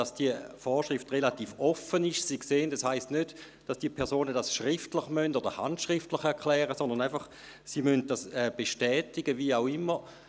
Wie Sie sehen, steht nicht, die Personen müssten die Wahlannahme schriftlich oder sogar handschriftlich erklären, sondern, dass sie die Wahlannahme bestätigen müssen, wie auch immer.